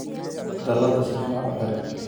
Dallada si fiican u xidh